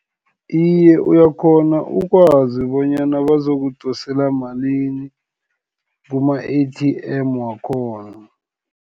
Iye, uyakghona ukwazi bonyana bazokudosela malini kuma-A_T_M, wakhona.